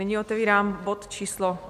Nyní otevírám bod číslo